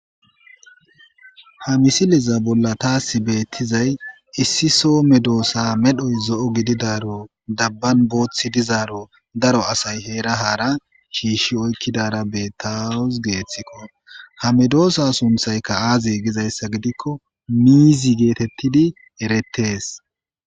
ha misiliza bolla taasi beettizay issi soome doossa medhoy zo7o gididaro dabban booththi dizaaro daro asay heera haara shiishshi oykkidara bettawus geeththikko ha medoossa sunthaykka aaze gizayssa gidikko miizi geetettidi erettees